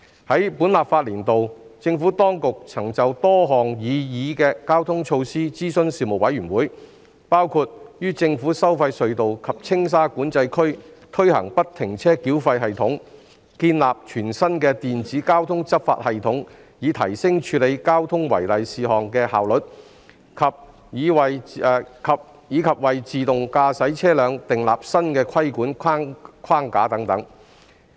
在本立法年度，政府當局曾就多項擬議的交通措施諮詢事務委員會，包括於政府收費隧道及青沙管制區推行不停車繳費系統、建立全新的電子交通執法系統以提升處理交通違例事項的效率，以及為自動駕駛車輛訂立新的規管框架等。